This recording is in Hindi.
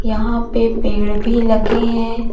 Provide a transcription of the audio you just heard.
यहां पे पेड़ भी लगे है।